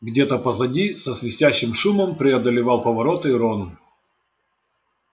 где-то позади со свистящим шумом преодолевал повороты рон